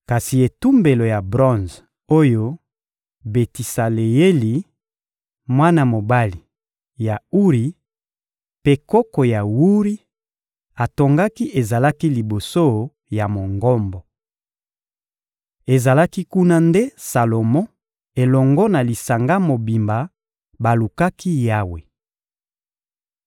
Kasi etumbelo ya bronze oyo Betisaleyeli, mwana mobali ya Uri mpe koko ya Wuri, atongaki ezalaki liboso ya Mongombo. Ezalaki kuna nde Salomo elongo na lisanga mobimba balukaki Yawe.